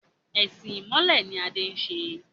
Ẹ̀sìn ìmọ̀le ni Adé ń ṣe.